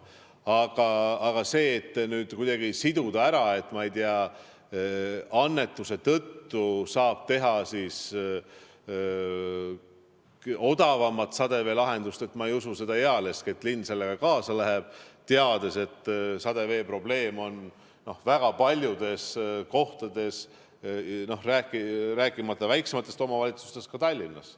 Aga see, et kuidagi siduda ära, et, ma ei tea, annetuse tõttu saab teha odavama sademeveelahenduse – ma ei usu seda ealeski, et linn sellega kaasa läheb, teades, et sademevee probleem on väga paljudes kohtades, rääkimata väiksematest omavalitsustest, aga ka Tallinnas.